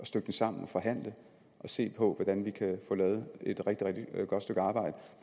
stykke det sammen og forhandle og se på hvordan vi kan få lavet et rigtig rigtig godt stykke arbejde